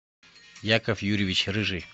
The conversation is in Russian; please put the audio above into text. яков юрьевич рыжий